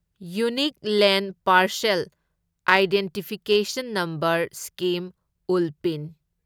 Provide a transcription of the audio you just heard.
unique land parcel identification number scheme ULPIN